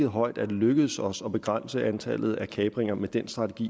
høj er det lykkedes os at begrænse antallet af kapringer med den strategi